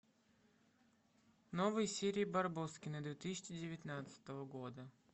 новые серии барбоскины две тысячи девятнадцатого года